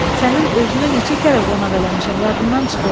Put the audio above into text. Sənin özünü neçə kərə qonaq eləmişəm, yadından çıxıb?